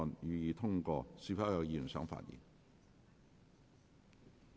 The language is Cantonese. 是否有議員想發言？